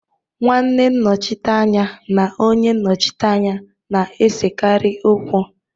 Nwanne nnochite anya na onye nnochite anya na-esekarị okwu.